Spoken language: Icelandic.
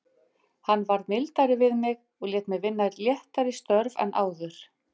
Hann varð mildari við mig og lét mig vinna léttari störf en áður.